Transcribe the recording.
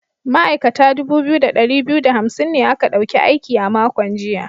Ma’aikata dubu biyu da dari biyu da hamsin ne aka dauki aiki a makon jiya.